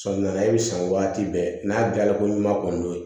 Sɔgɔmada e bɛ san waati bɛɛ n'a diyara ko ɲuman kɔni ye